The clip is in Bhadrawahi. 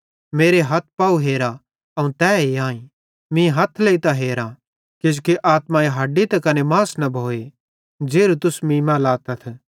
मेरे हथ पाव हेरा अवं तैए आईं मीं हथ लेइतां हेरा किजोकि आत्माई हड्डी त कने मास न भोए ज़ेरू तुस मीं मां लातथ